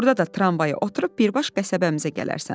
Orda da tramvaya oturub birbaş qəsəbəmizə gələrsən.